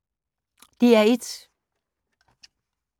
DR1